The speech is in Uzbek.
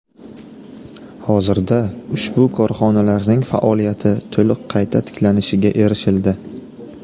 Hozirda ushbu korxonalarning faoliyati to‘liq qayta tiklanishiga erishildi.